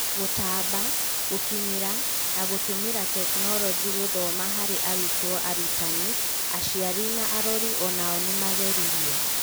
Gũtambia, gũkinyĩra na gũtũmĩra tekinoronjĩ gũthoma harĩ arutwo, arutani, aciari na arori o-nao nĩmageririo.